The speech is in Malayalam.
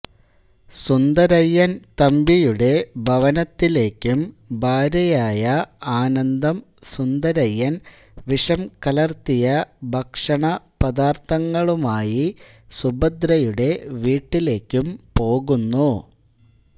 സുന്ദരയ്യൻ തമ്പിയുടെ ഭവനത്തിലേക്കും ഭാര്യയായ ആനന്തം സുന്ദരയ്യൻ വിഷം കലർത്തിയ ഭക്ഷണപദാർത്ഥങ്ങളുമായി സുഭദ്രയുടെ വീട്ടിലേക്കും പോകുന്നു